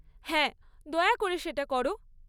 হ্যাঁ, দয়া করে সেটা কর।